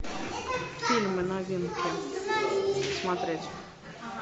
фильмы новинки смотреть